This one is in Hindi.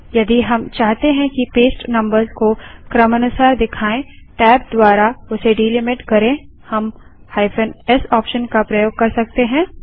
यदि हम चाहते हैं कि पेस्ट नम्बर्स को क्रमानुसार दिखाए टैब द्वारा उसे डीलिमिट करें हम -s ऑप्शन का प्रयोग कर सकते हैं